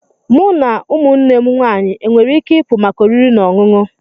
Mụ na ụmụnne m nwanyị enwere ike ịpụ maka oriri na ọṅụṅụ?